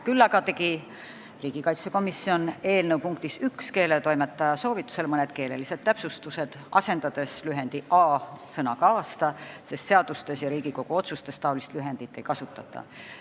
Küll aga tegi riigikaitsekomisjon eelnõu punktis 1 keeletoimetaja soovitusel keelelise täpsustuse, asendades lühendi "a" sõnaga "aasta", sest seadustes ja Riigikogu otsustes lühendit ei kasutata.